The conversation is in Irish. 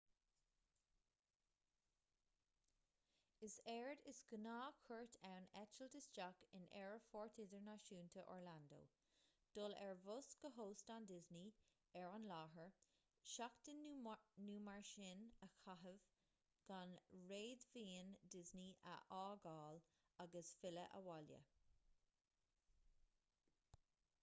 is éard is gnáth"-chuairt ann eitilt isteach in aerfort idirnáisiúnta orlando dul ar bhus go hóstán disney ar an láthair seachtain nó mar sin a chaitheamh gan réadmhaoin disney a fhágáil agus filleadh abhaile